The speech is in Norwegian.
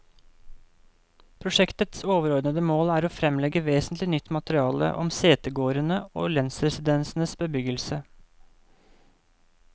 Prosjektets overordede mål er å fremlegge vesentlig nytt materiale om setegårdene og lensresidensenes bebyggelse.